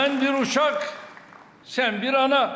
Mən bir uşaq, sən bir ana.